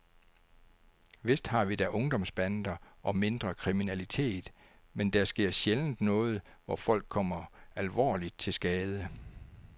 Vist har vi da ungdomsbander og mindre kriminalitet, men der sker sjældent noget, hvor folk kommer alvorligt til skade.